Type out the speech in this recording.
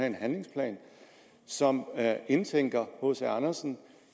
en handlingsplan som indtænker hc andersen